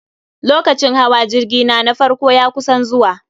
Lokacin hawa jirgi na, na farko ya kusan zuwa